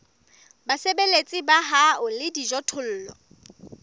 basebeletsi ba hao le dijothollo